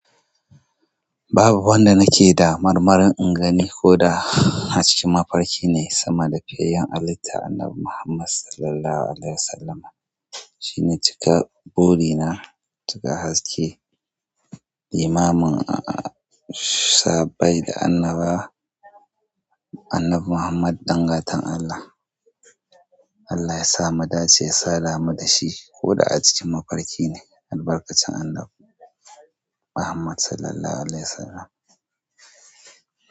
Babu wanda nake da marmarin in gani koda a cikin mafarki ne sama da fiyayyen halitta annabi Muhammad sallallahu alaihi wasallama. Shi ne cika burina, cika haske, limamin sahabbai da annaba annabi Muhammad ɗan gatan Allah. Allah ya sama mu dace ya sadamu da shi ko da a cikin mafarki ne. Albarkacin annabi Muhammad sallallahu alaihi wasallam.